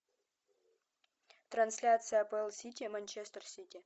трансляция апл сити манчестер сити